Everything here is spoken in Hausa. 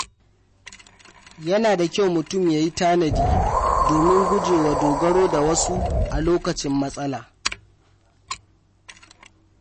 Yana da kyau mutum ya tanadi domin guje wa dogaro da wasu a lokacin matsala.